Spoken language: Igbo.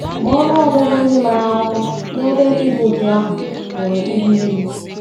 Ma, ọnụ ọgụgụ ndị maara akwụkwọ n’ebe ndị dị otú ahụ pụrụ ịdị elu.